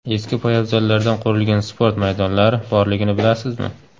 Eski poyabzallardan qurilgan sport maydonlari borligini bilasizmi?